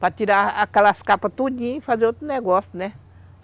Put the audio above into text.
Para tirar aquelas capas todinhas e fazer outro negócio, né?